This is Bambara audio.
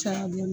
Caya bilen